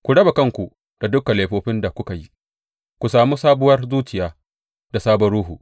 Ku raba kanku da dukan laifofin da kuka yi, ku sami sabuwar zuciya da sabon ruhu.